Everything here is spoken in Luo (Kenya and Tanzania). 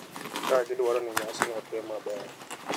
ka gidwaro ni nyasino otim maber.